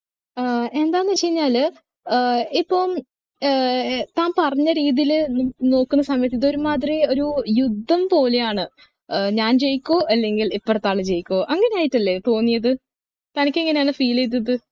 ഏർ എന്താന്ന് വെച്ച് കഴിഞ്ഞാല് ഏർ ഇപ്പം ഏർ താൻ പറഞ്ഞ രീതിയില് നോക്ക് ണ സമയത്ത് ഇത് ഒരുമാതിരി ഒരു യുദ്ധം പോലെയാണ് ഞാൻ ജയിക്കും അല്ലെങ്കിൽ ഇപ്പറത്തെ ആള് ജയിക്കും അങ്ങനെ ആയിട്ടല്ലേ തോന്നിയത് തനിക്ക് എങ്ങനെയാണ് feel ചെയ്തത്